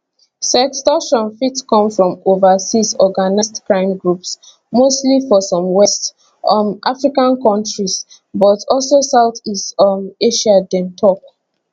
sextortion fit come from overseas organised crime groups mostly for some west um african kontries but also south east um asia dem tok